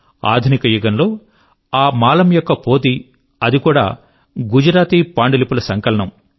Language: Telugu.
ఆధునిక యుగం లో ఆ మాలమ్ యొక్క పోథీ అది కూడా గుజరాతీ పాండులిపుల సంకలనము